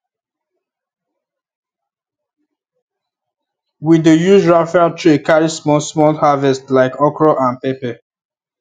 we dey use raffia tray carry small small harvest like okro and pepper